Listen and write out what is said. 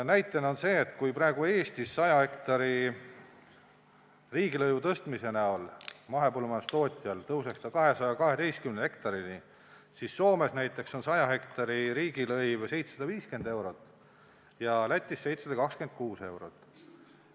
Eestis tõuseks 100 hektari riigilõiv mahepõllumajandustootjal 212-ni, Soomes näiteks on 100 hektari riigilõiv 750 eurot ja Lätis 726 eurot.